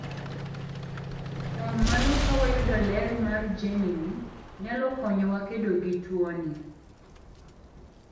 kuom mano kawayudo ler mar jeni ni, nyalo konyowa kedo gi tuoni."